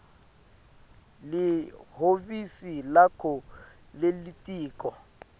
lihhovisi lakho lelitiko